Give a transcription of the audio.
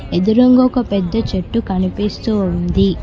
ఎదురుంగా ఒక పెద్ద చెట్టు కనిపిస్తుంది.